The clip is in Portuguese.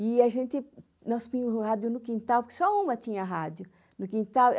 E a gente, nós punha o rádio no quintal, porque só uma tinha rádio, no quintal.